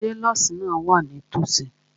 Ṣé nọ́ọ̀sì náà wà nítòsí?